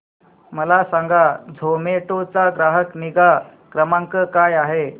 मला सांगा झोमॅटो चा ग्राहक निगा क्रमांक काय आहे